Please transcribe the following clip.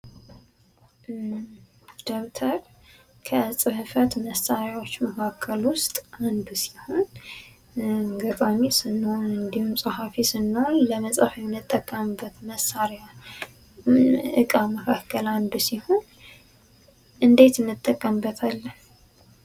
ደብተር ከፅህፈት መሳሪያዎች መካከል ውስጥ አንዱ ሲሆን፤ ገጣሚ ስንሆን እንዲሁም ፀሐፊ ስንሆን ለመፃፍ የምንጠቀምበት መሳሪያ ዕቃ መካከል አንዱ ሲሆን ፤ እንዴት እንጠቀምበትአለን?